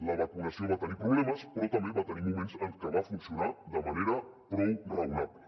la vacunació va tenir problemes però també va tenir moments en què va funcionar de manera prou raonable